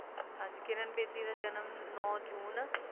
ਹਾਂਜੀ ਕਿਰਣ ਬੇਦੀ ਦਾ ਜਨਮ ਨੋ ਸੂਚੀ